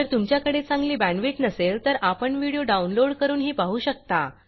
जर तुमच्याकडे चांगली बॅंडविड्त नसेल तर आपण व्हिडिओ डाउनलोड करूनही पाहू शकता